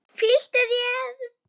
Flýttu þér.